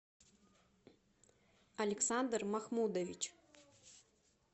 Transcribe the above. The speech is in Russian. александр махмудович